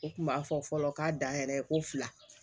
U kun b'a fɔ fɔlɔ k'a dan yɛrɛ ko fila